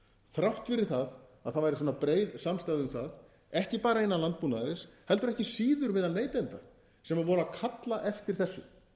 þrátt fyrir það að það væri svona breið samstaða um það ekki bara innan landbúnaðarins heldur ekki síður meðal neytenda sem voru að kalla eftir þessu